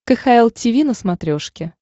кхл тиви на смотрешке